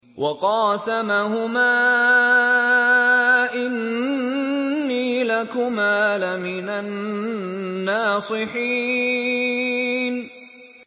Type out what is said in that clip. وَقَاسَمَهُمَا إِنِّي لَكُمَا لَمِنَ النَّاصِحِينَ